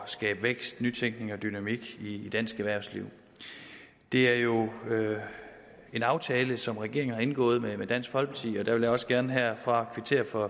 skabe vækst nytænkning og dynamik i dansk erhvervsliv det er jo en aftale som regeringen har indgået med dansk folkeparti og jeg vil også gerne herfra kvittere for